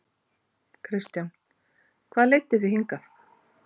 Kristján: Hvað leiddi þig hingað?